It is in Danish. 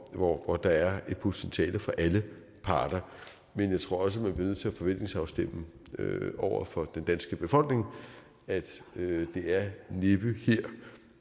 hvor hvor der er et potentiale for alle parter men jeg tror også man bliver nødt til at forventningsafstemme over for den danske befolkning at det næppe